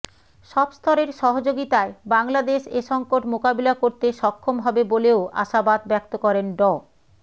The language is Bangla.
সব স্তরের সহযোগিতায় বাংলাদেশ এ সংকট মোকাবিলা করতে সক্ষম হবে বলেও আশাবাদ ব্যক্ত করেন ড